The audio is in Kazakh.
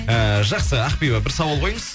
ііі жақсы ақбибі бір сауал қойыңыз